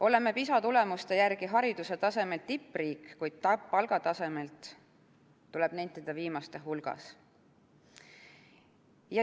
Oleme PISA tulemuste järgi hariduse tasemelt tippriik, kuid palgatasemelt, tuleb nentida, viimaste hulgas.